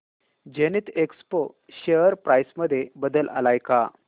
Zenith Expo share price मध्ये बदल आलाय का